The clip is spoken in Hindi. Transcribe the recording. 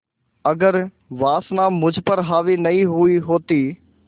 अगर वासना मुझ पर हावी नहीं हुई होती